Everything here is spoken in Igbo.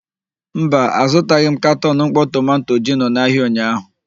Mba, azụtaghị m katọn mkpọ tomanto gino n'ahịa ụnyaahụ.